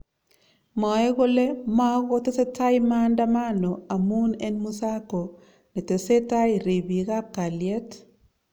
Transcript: mwae kole makotesetai maandamano amun en musako netesentai ribiik ab kalyet